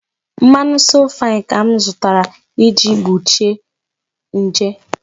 mmanu 'So fine' ka m zụtara, iji gbochie nje.